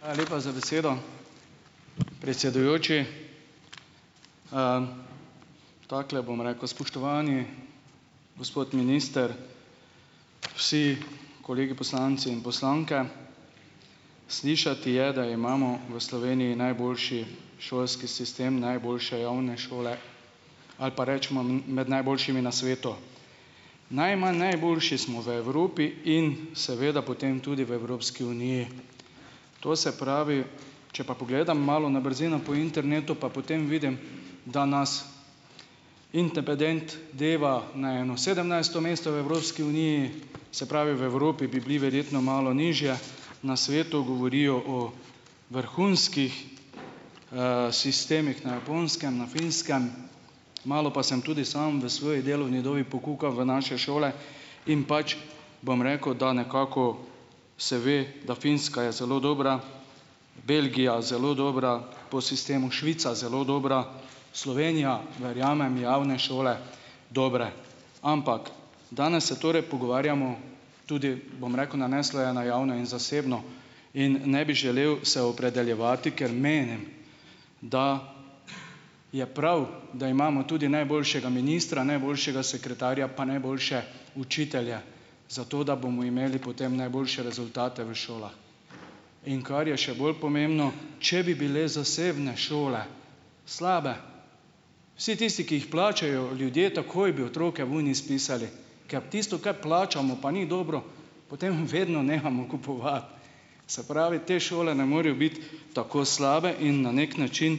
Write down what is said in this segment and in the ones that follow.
Hvala lepa za besedo, predsedujoči, Takole bom rekel, spoštovani gospod minister, vsi kolegi poslanci in poslanke, slišati je, da imamo v Sloveniji najboljši šolski sistem, najboljše javne šole ali pa recimo med najboljšimi na svetu, najmanj najboljši smo v Evropi in seveda potem tudi v Evropski uniji, to se pravi, če pa pogledam malo na brzino po internetu, pa potem vidim, da nas Indepedent deva na eno sedemnajsto mesto v Evropski uniji, se pravi, v Evropi bi bili verjetno malo nižje, na svetu govorijo o vrhunskih, sistemih na Japonskem, na Finskem, malo pa sem tudi sam v svoji delovni dobi pokukal v naše šole in pač bom rekel, da nekako, se ve, da Finska je zelo dobra, Belgija zelo dobra, po sistemu Švica zelo dobra, Slovenija, verjamem, javne šole dobre, ampak danes se torej pogovarjamo tudi, bom rekel, naneslo je na javno in zasebno in ne bi želel se opredeljevati, ker menim, da je prav, da imamo tudi najboljšega ministra, najboljšega sekretarja pa najboljše učitelje, zato da bomo imeli potem najboljše rezultate v šolah, in kar je še bolj pomembno, če bi bile zasebne šole slabe, vsi tisti, ki jih plačajo, ljudje takoj bi otroke ven izpisali, ker tisto, kar plačamo pa ni dobro, potem vedno nehamo kupovati, se pravi, te šole ne morejo biti tako slabe in na neki način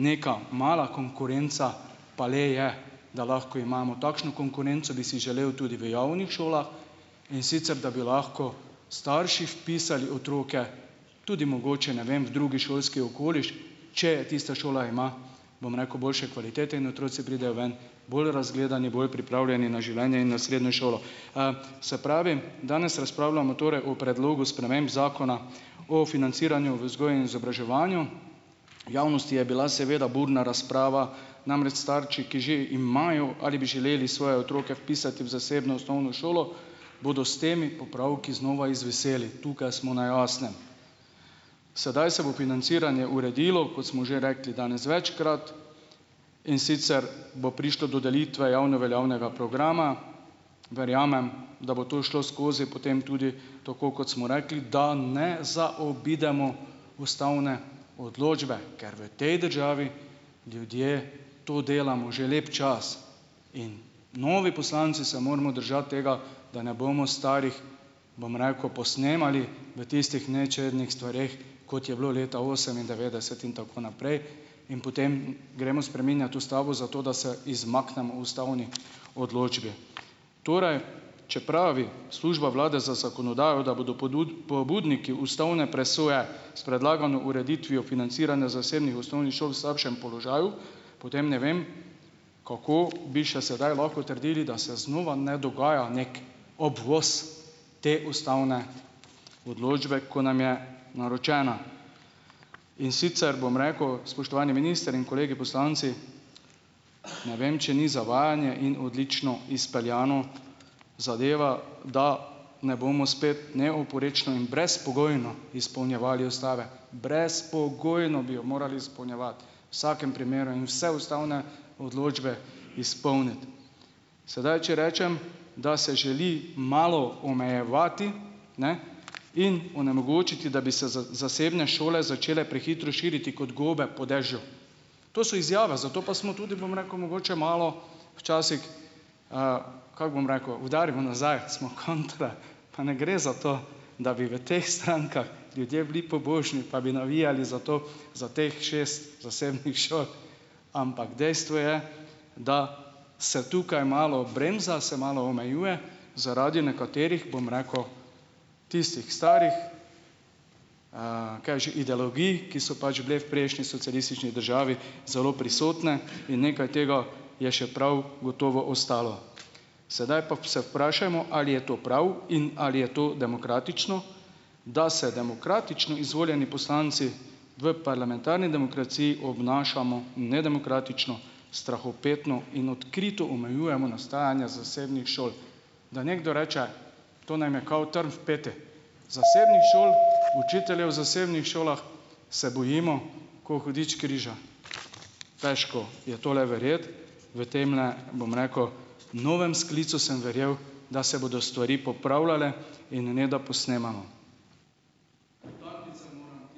neka mala konkurenca pa le je, da lahko imamo takšno konkurenco, bi si želel tudi v javnih šolah, in sicer da bi lahko starši vpisali otroke tudi mogoče, ne vem, v drugi šolski okoliš, če tista šola ima, bom rekel, boljše kvalitete in otroci pridejo ven bolj razgledani, bolj pripravljeni na življenje in na srednjo šolo, se pravi, danes razpravljamo torej o predlogu sprememb zakona o financiranju vzgojnem izobraževanju, v javnosti je bila seveda burna razprava, namreč starši, ki že imajo ali bi želeli svoje otroke vpisati v zasebno osnovno šolo, bodo s temi popravki znova izviseli, tukaj smo na jasnem, sedaj se bo financiranje uredilo, kot smo že rekli danes večkrat, in sicer bo prišlo do delitve javno veljavnega programa, verjamem, da bo to šlo skozi potem tudi tako, kot smo rekli, da ne zaobidemo ustavne odločbe, ker v tej državi ljudje to delamo že lep čas, in novi poslanci se moramo držati tega, da ne bomo starih, bom rekel, posnemali v tistih nečednih stvareh, kot je bilo leta osemindevetdeset in tako naprej, in potem gremo spreminjat ustavo, zato da se izmaknemo ustavni odločbi, torej če pravi služba vlade za zakonodajo, da bodo pobudniki ustavne presoje s predlagano ureditvijo financiranja zasebnih osnovnih šol slabšem položaju, potem ne vem, kako bi še sedaj lahko trdili, da se znova ne dogaja neki obvoz te ustavne odločbe, ko nam je naročena, in sicer bom rekel, spoštovani minister in kolegi poslanci, ne vem, če ni zavajanje in odlično izpeljana zadeva, da ne bomo spet neoporečno in brezpogojno izpolnjevali ustave, brezpogojno bi jo morali izpolnjevati vsakem primeru in vse ustavne odločbe izpolniti, sedaj če rečem, da se želi malo omejevati, ne, in onemogočiti, da bi se z zasebne šole začele prehitro širiti kot gobe po dežju, to so izjave, zato pa smo tudi, bom rekel, mogoče malo včasih, kako bom rekel, udarimo nazaj, pa ne gre za to, da bi v teh strankah ljudje bili pobožni pa bi navijali za to, za teh šest zasebnih šol, ampak dejstvo je, da se tukaj malo bremza, se malo omejuje zaradi nekaterih, bom rekel, tistih starih, kaj je že, ideologij, ki so pač bile v prejšnji socialistični državi zelo prisotne in nekaj tega je še prav gotovo ostalo, sedaj pa se vprašajmo, ali je to prav in ali je to demokratično, da se demokratično izvoljeni poslanci v parlamentarni demokraciji obnašamo nedemokratično, strahopetno in odkrito omejujemo nastajanja zasebnih šol, da nekdo reče: "To nam je kao trn v peti, zasebnih šol, učiteljev zasebnih šolah se bojimo kot hudič križa." Težko je tole verjeti v temle, bom rekel, novem sklicu sem verjel, da se bodo stvari popravljale in ne da posnemamo ...